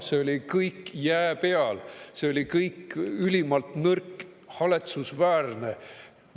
See oli kõik jää peal, see oli kõik ülimalt nõrk, haletsusväärne.